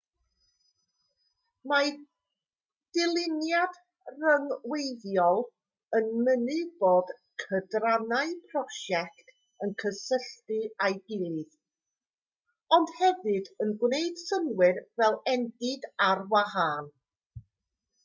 mae dyluniad rhyngweithiol yn mynnu bod cydrannau prosiect yn cysylltu â'i gilydd ond hefyd yn gwneud synnwyr fel endid ar wahân